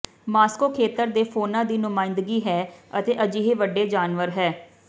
Moscow ਖੇਤਰ ਦੇ fauna ਦੀ ਨੁਮਾਇੰਦਗੀ ਹੈ ਅਤੇ ਅਜਿਹੇ ਵੱਡੇ ਜਾਨਵਰ ਹੈ